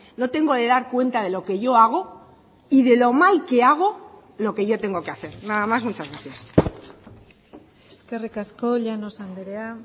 no tengo que dar cuenta de lo que yo hago y de lo mal que hago lo que yo tengo que hacer nada más muchas gracias eskerrik asko llanos andrea